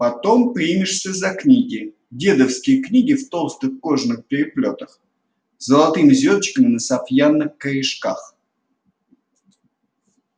потом примешься за книги дедовские книги в толстых кожаных переплётах с золотыми звёздочками на сафьянных корешках